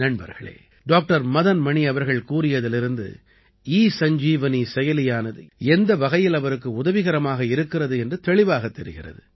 நண்பர்களே டாக்டர் மதன் மணி அவர்கள் கூறியதிலிருந்து ஈசஞ்சீவனி செயலியானது எந்த வகையில் அவருக்கு உதவிகரமாக இருக்கிறது என்று தெளிவாகத் தெரிகிறது